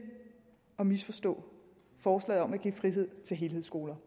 har misforstå forslaget om at give frihed til helhedsskoler